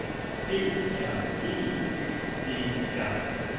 D R E Y E R